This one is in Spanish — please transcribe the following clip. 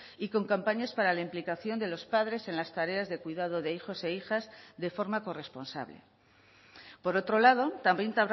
y con campañas para la implicación de los padres en las tareas de cuidado de hijos e hijas de forma corresponsable por otro lado también